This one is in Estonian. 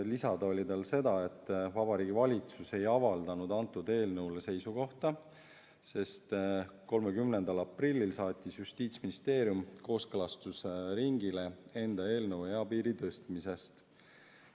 Lisada oli tal seda, et Vabariigi Valitsus ei avaldanud eelnõu kohta seisukohta, sest 30. aprillil saatis Justiitsministeerium kooskõlastusringile enda eelnõu eapiiri tõstmise kohta.